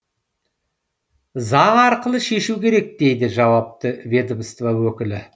заң арқылы шешу керек дейді жауапты ведомство өкілі